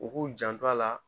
U 'u janto a la